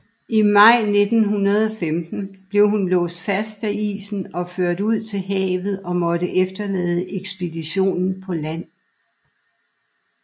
I maj 1915 blev hun låst fast af isen og ført ud til havet og måtte efterlade ekspeditionen på land